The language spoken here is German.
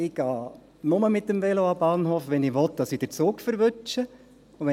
Ich gehe nur mit dem Velo an den Bahnhof, wenn ich den Zug erwischen will.